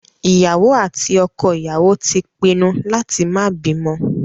Ìyàwó àti ọkọ ìyàwó ti pinnu láti má bímọ